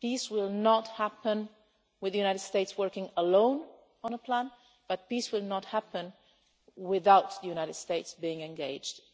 Peace will not happen with the United States working alone on a plan, but peace will not happen without the United States being